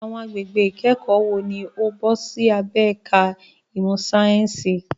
Àwọn agbègbè ìkẹ́kọ̀ọ́ wo ni ó bọ́ sí abẹ́ ẹ̀ka ìmọ̀ sáyẹ́ǹsì?